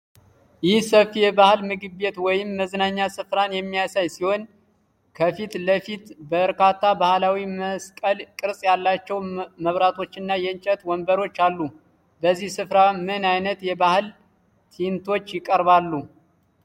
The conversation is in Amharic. ይህ ሰፊ የባህል ምግብ ቤት ወይም መዝናኛ ስፍራን የሚያሳይ ሲሆን፣ ከፊት ለፊት በርካታ ባህላዊ መስቀል ቅርጽ ያላቸው መብራቶችና የእንጨት ወንበሮች አሉ። በዚህ ስፍራ ምን አይነት የባህል ትዕይንቶች ይቀርባሉ?